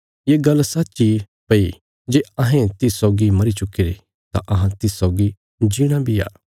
ये गल्ल सच्च इ भई जे अहें तिस सौगी मरी चुक्कीरे तां अहां तिस सौगी जीणा बी आ